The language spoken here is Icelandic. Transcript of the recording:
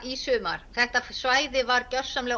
í sumar þetta svæði var